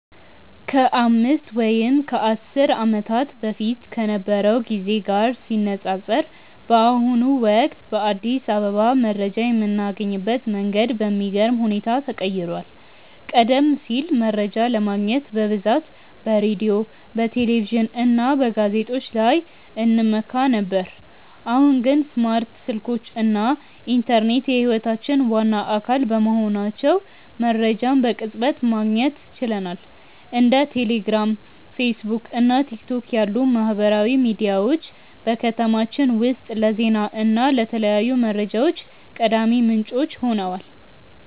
ከአምስት ወይም ከአስር ዓመታት በፊት ከነበረው ጊዜ ጋር ሲነፃፀር፣ በአሁኑ ወቅት በአዲስ አበባ መረጃ የምናገኝበት መንገድ በሚገርም ሁኔታ ተቀይሯል። ቀደም ሲል መረጃ ለማግኘት በብዛት በሬዲዮ፣ በቴሌቪዥን እና በጋዜጦች ላይ እንመካ ነበር፤ አሁን ግን ስማርት ስልኮች እና ኢንተርኔት የህይወታችን ዋና አካል በመሆናቸው መረጃን በቅጽበት ማግኘት ችለናል። እንደ ቴሌግራም፣ ፌስቡክ እና ቲክቶክ ያሉ ማህበራዊ ሚዲያዎች በከተማችን ውስጥ ለዜና እና ለተለያዩ መረጃዎች ቀዳሚ ምንጮች ሆነዋል።